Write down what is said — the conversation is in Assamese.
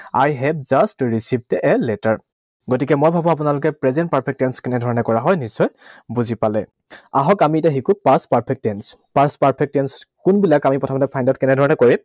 I have just received a letter, গতিকে মই ভাবো আপোনালোকে present perfect tense কেনে ধৰণে কৰা হয়, নিশ্চয় বুজি পালে। আহক আমি এতিয়া শিকোঁ past perfect tense. Past perfect tense কোনবিলাক, আমি প্ৰথমতে find out কেনেধৰণেৰে কৰিম?